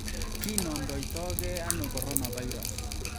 Kinomdoito gee ano coronavirus